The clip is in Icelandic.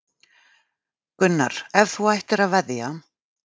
Gunnar: Ef þú ættir að veðja?